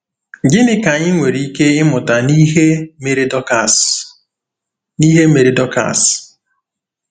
Gịnị ka anyị nwere ike ịmụta n’ihe mere Dọkas n’ihe mere Dọkas?